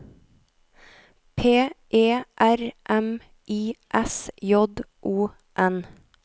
P E R M I S J O N